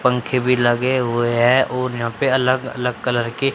पंखे भी लगे हुए हैं और यहां पे अलग अलग कलर के--